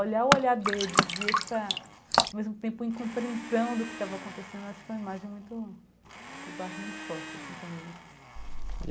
Olhar o olhar deles, e essa...ao mesmo tempo incompreensão do que estava acontecendo, acho que é uma imagem muito que eu guardo muito forte, assim, comigo.